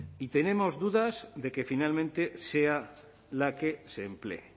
y tenemos dudas de que finalmente sea la que se emplee